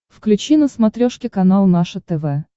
включи на смотрешке канал наше тв